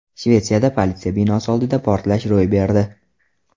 Shvetsiyada politsiya binosi oldida portlash ro‘y berdi.